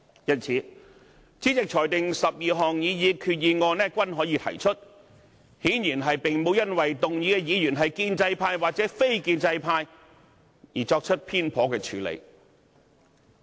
因此，主席裁定12項擬議決議案均可提出，顯然並沒有因為提出議案的議員是建制派還是非建制派而作出偏頗的處理。